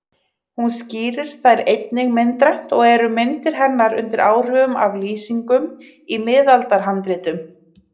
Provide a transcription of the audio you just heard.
Hún skýrir þær einnig myndrænt og eru myndir hennar undir áhrifum af lýsingum í miðaldahandritum.